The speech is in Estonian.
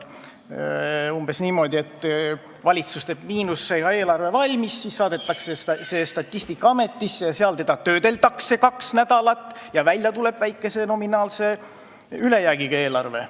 Öeldi umbes niimoodi, et valitsus teeb miinusega eelarve valmis, see saadetakse Statistikaametisse ja seal seda töödeldakse kaks nädalat ning välja tuleb väikese nominaalse ülejäägiga eelarve.